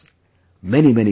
Many many Thanks